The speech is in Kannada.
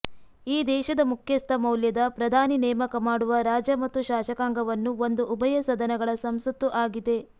ಈ ದೇಶದ ಮುಖ್ಯಸ್ಥ ಮೌಲ್ಯದ ಪ್ರಧಾನಿ ನೇಮಕ ಮಾಡುವ ರಾಜ ಮತ್ತು ಶಾಸಕಾಂಗವನ್ನು ಒಂದು ಉಭಯ ಸದನಗಳ ಸಂಸತ್ತು ಆಗಿದೆ